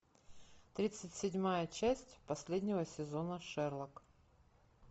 тридцать седьмая часть последнего сезона шерлок